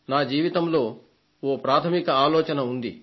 నా జీవితంలో ఓ ప్రాథమిక ఆలోచన ఉంది